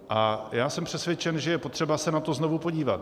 A já jsem přesvědčen, že je potřeba se na to znovu podívat.